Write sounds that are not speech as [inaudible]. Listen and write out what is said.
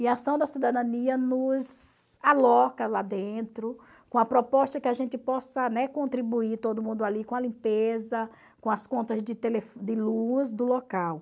E a ação da cidadania nos aloca lá dentro com a proposta que a gente possa, né, contribuir todo mundo ali com a limpeza, com as contas de [unintelligible] de luz do local.